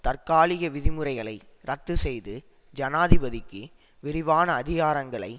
தற்காலிக விதிமுறைகளை ரத்து செய்து ஜனாதிபதிக்கு விரிவான அதிகாரங்களை